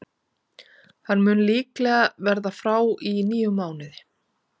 Hann mun líklega verða frá í níu mánuði.